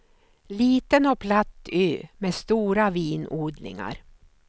Liten och platt ö med stora vinodlingar.